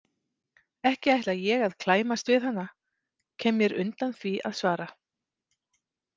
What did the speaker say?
Ekki ætla ég að klæmast við hana, kem mér undan því að svara.